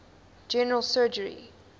general surgery